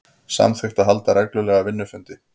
Samþykkt að halda reglulega vinnufundi